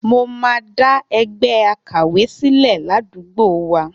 Mo máa dá ẹgbẹ́ àkàwé sílẹ̀ ládùúgbò wa.